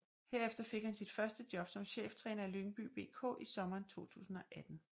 Herefter fik han sit første job som cheftræner i Lyngby BK i sommeren 2018